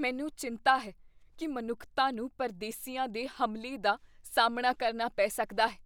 ਮੈਨੂੰ ਚਿੰਤਾ ਹੈ ਕੀ ਮਨੁੱਖਤਾ ਨੂੰ ਪਰਦੇਸੀਆਂ ਦੇ ਹਮਲੇ ਦਾ ਸਾਹਮਣਾ ਕਰਨਾ ਪੈ ਸਕਦਾ ਹੈ